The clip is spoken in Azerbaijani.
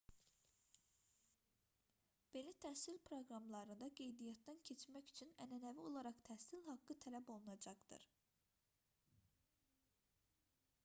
belə təhsil proqramlarında qeydiyyatdan keçmək üçün ənənəvi olaraq təhsil haqqı tələb olunacaqdır